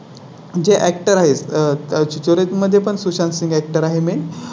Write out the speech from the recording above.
जे Actor आहेत त्याच्या मध्ये पण सुशांत सिंह Actor आहे. मी